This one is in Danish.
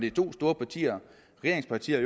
er to store partier regeringspartier